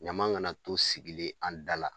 Ɲama kana to sigilen an dala